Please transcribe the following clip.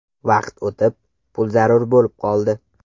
Vaqt o‘tib, pul zarur bo‘lib qoldi.